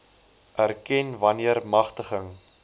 erken wanneer magtiging